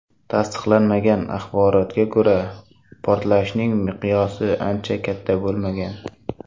Tasdiqlanmagan axborotga ko‘ra, portlashning miqyosi uncha katta bo‘lmagan.